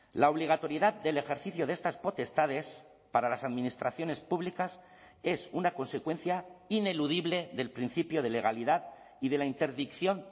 la obligatoriedad del ejercicio de estas potestades para las administraciones públicas es una consecuencia ineludible del principio de legalidad y de la interdicción